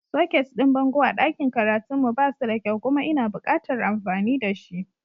Soket ɗin bango a ɗakin karatun mu ba suda kyau kuma ina buƙatar amfani da shi.